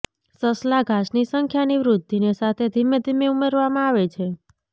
સસલા ઘાસની સંખ્યાની વૃદ્ધિને સાથે ધીમે ધીમે ઉમેરવામાં આવે છે